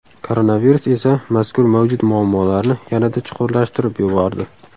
Koronavirus esa mazkur mavjud muammolarni yanada chuqurlashtirib yubordi.